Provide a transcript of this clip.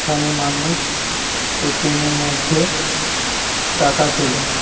এখানে মানুষ এ.টি.এম. -এর মধ্যে টাকা তোলে।